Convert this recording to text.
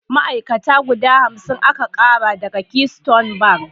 Ma'ai'kata guda hamsin aka ƙara daga Keystone bank.